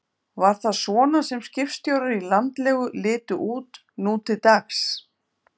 Var það svona sem skipstjórar í landlegu litu út nú til dags?